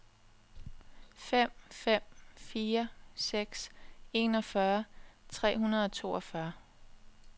fem fem fire seks enogfyrre tre hundrede og toogfyrre